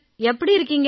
எப்படி இருக்கீங்க